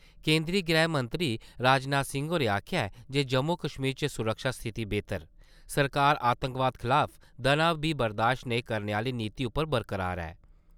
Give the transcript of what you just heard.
केंद्री गृहमंत्री राजनाथ सिंह होरें आक्खेआ ऐ जे जम्मू-कश्मीर च सुरक्षा स्थिति बेह्तर, सरकार आतंकवाद खलाफ दना बी बर्दाश्त नेई करने आह्‌ली नीति उप्पर बरकरार ऐ।